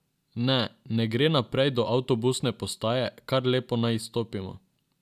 Ne, ne gre naprej do avtobusne postaje, kar lepo naj izstopimo.